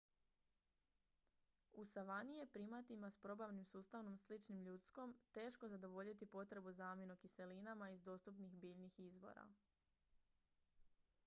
u savani je primatima s probavnim sustavom sličnim ljudskom teško zadovoljiti potrebu za aminokiselinama iz dostupnih biljnih izvora